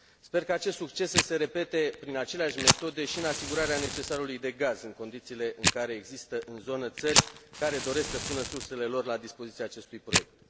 Sper că acest succes să se repete prin aceleași metode și în asigurarea necesarului de gaz în condițiile în care există în zonă țări care doresc să pună sursele lor la dispoziția acestui proiect.